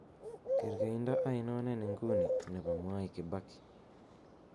kergeindo ainon en nguni nepo mwai kibaki